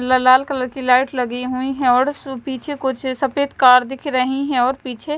ललाल colour की light लगी हुई है और सु पीछे कुछ सफ़ेद कर दिख रही है और पीछे --